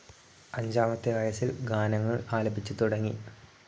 അഞ്ചാമത്തെ വയസിൽ ഗാനങ്ങൾ ആലപിച്ചുതുടങ്ങി.